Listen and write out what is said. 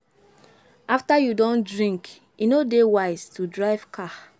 After you don drink e no dey wise to drive car